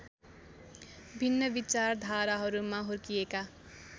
भिन्न विचारधाराहरूमा हुर्किएका